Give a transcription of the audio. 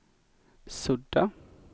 sudda